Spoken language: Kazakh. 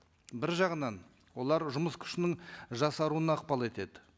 бір жағынан олар жұмыс күшінің жасаруына ықпал етеді